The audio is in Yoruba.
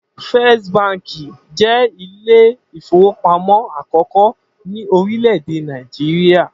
First Baǹkì jé Ilé-ìfowópamó àkókó ní orílè èdè Nàìjíríà.